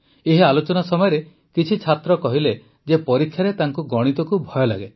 ଏହି ଆଲୋଚନା ସମୟରେ କିଛି ଛାତ୍ର କହିଲେ ଯେ ପରୀକ୍ଷାରେ ତାଙ୍କୁ ଗଣିତକୁ ଭୟ ଲାଗେ